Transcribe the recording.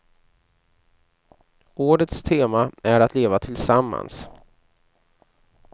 Årets tema är att leva tillsammans.